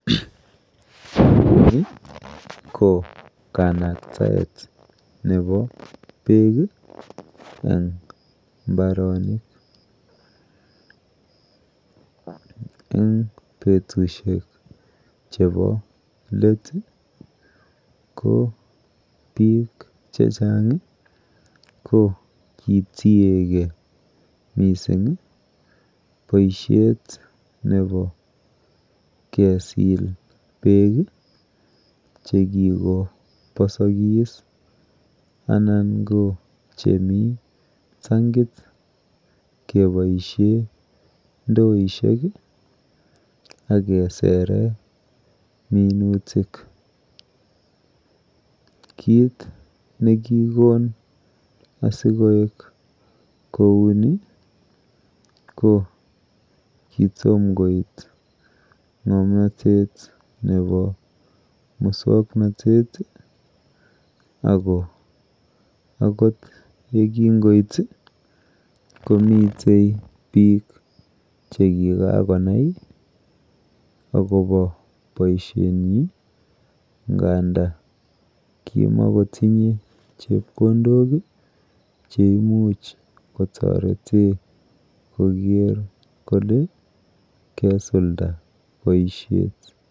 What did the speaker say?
Ni ko kanaktaet nepo beek eng mbaronik. Eng betushek chepo let ko biik chechang ko kitiegei mising boishet nepo kesil beek chekikoposokis anan ko chemi tankit keboishe ndoishek akesere minutik. Kit nekikon asikoek kouni ko kitomkoit ng'omnotet nepo musoknotet ako kingoit komite biik chekikakonai akopo boishoni nganda kimokotinye chepkondok cheimuch koker kole kesulda boishet.